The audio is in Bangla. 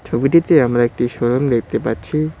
ছবিটিতে আমরা একটি শোরুম দেখতে পাচ্ছি।